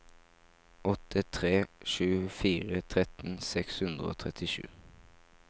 åtte tre sju fire tretten seks hundre og trettisju